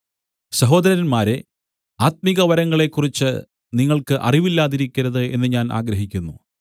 സഹോദരന്മാരേ ആത്മികവരങ്ങളെക്കുറിച്ച് നിങ്ങൾക്ക് അറിവില്ലാതിരിക്കരുത് എന്ന് ഞാൻ ആഗ്രഹിക്കുന്നു